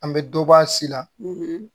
An bɛ dɔ bɔ a si la